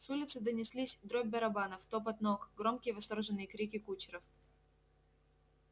с улицы донеслись дробь барабанов топот ног громкие восторженные крики кучеров